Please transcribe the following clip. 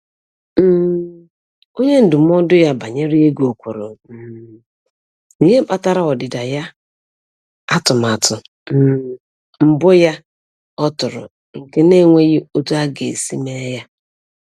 um Onye ndụmọdụ ya banyere ego kwuru um n'ihe kpatara ọdịda ya atụmatụ um mbụ ya ọ tụrụ nke na-enweghị otu a ga-esi mee ya